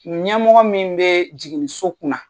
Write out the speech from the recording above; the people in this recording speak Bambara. Ɲɛmɔgɔ min bee jiginiso kunna